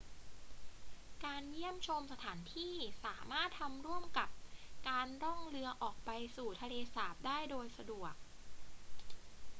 การเยี่ยมชมสถานที่สามารถทำร่วมกับการล่องเรือออกไปสู่ทะเลสาบได้โดยสะดวก